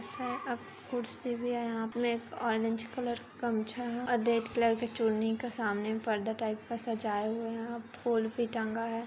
सा है अब कुर्सी भी है हाँथ मे एक ऑरेंज कलर गमछा है और रेड कलर की चुन्नी का सामने पर्दा टाइप का सजाये हुए हैं और फूल भी टांगा है।